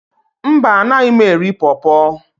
mba, Anaghị m eri por por